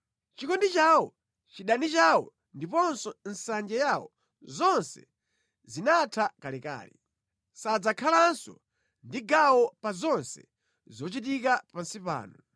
Chikondi chawo, chidani chawo ndiponso nsanje yawo, zonse zinatha kalekale; sadzakhalanso ndi gawo pa zonse zochitika pansi pano.